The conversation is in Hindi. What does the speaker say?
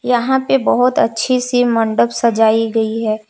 यहां पे बहुत अच्छी सी मंडप सजाई गई है।